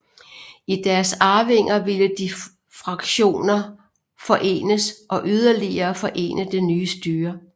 I deres arvinger ville de to fraktioner forenes og yderligere forene det nye styre